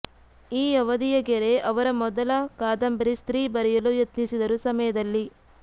ಈ ಅವಧಿಯ ಗೆರೆ ಅವರ ಮೊದಲ ಕಾದಂಬರಿ ಸ್ತ್ರೀ ಬರೆಯಲು ಯತ್ನಿಸಿದರು ಸಮಯದಲ್ಲಿ